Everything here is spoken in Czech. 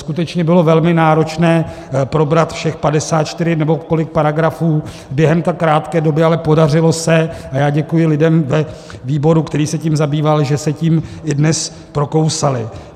Skutečně bylo velmi náročné probrat všech 54 nebo kolik paragrafů během tak krátké doby, ale podařilo se a já děkuji lidem ve výboru, který se tím zabýval, že se tím i dnes prokousali.